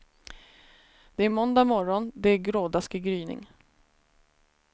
Det är måndag morgon, det är grådaskig gryning.